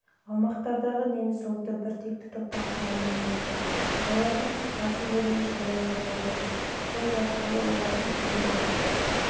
аумақтағы неміс ұлты біртекті топтан құралмаған еді олардың басым бөлігі шаруалар болды сол арқылы олардың сандық